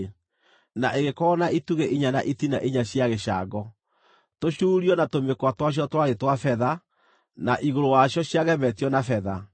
na ĩgĩkorwo na itugĩ inya na itina inya cia gĩcango. Tũcuurio na tũmĩkwa twacio twarĩ twa betha, na igũrũ wacio ciagemetio na betha.